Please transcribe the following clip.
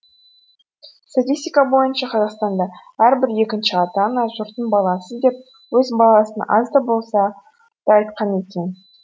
статистика бойынша қазақстанда әрбір екінші ата ана жұрттың баласы деп өз баласына аз да болса да айтқан екен